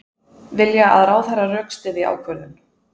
Vilja að ráðherra rökstyðji ákvörðun